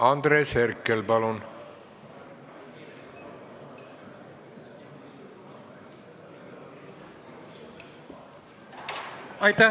Andres Herkel, palun!